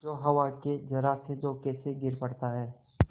जो हवा के जरासे झोंके से गिर पड़ता है